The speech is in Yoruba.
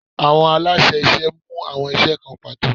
Awọn alaṣẹ iṣẹ mu awọn iṣẹ kan pato